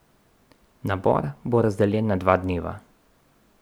Nabor bo razdeljen na dva dneva.